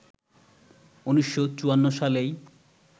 ১৯৫৪ সালেই